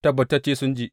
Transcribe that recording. Tabbatacce sun ji.